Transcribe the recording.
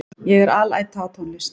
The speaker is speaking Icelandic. Ég er alæta á tónlist.